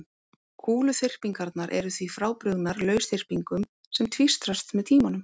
Kúluþyrpingarnar eru því frábrugðnar lausþyrpingum sem tvístrast með tímanum.